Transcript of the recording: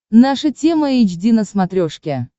наша тема эйч ди на смотрешке